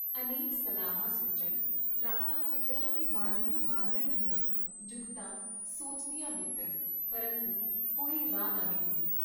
ਅਨੇਕ ਸਲਾਹਾਂ ਸੋਚਣ, ਰਾਤਾਂ ਫਿਕਰਾਂ ਤੇ ਬਾਨ੍ਹਣੂ ਬੰਨ੍ਹਣ ਦੀਆਂ ਜੁਗਤਾਂ ਸੋਚਦੀਆਂ ਬੀਤਣ, ਪਰੰਤੂ ਕੋਈ ਰਾਹ ਨਾ ਨਿਕਲੇ।